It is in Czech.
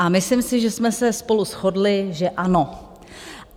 A myslím si, že jsme se spolu shodli, že ano.